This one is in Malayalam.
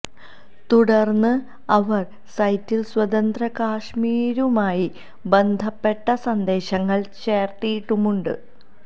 തുടര്ന്ന് അവര് സൈറ്റില് സ്വതന്ത്ര കാശ്മീരുമായി ബന്ധപ്പെട്ട സന്ദേശങ്ങള് ചേര്ത്തിട്ടുമുണ്ട്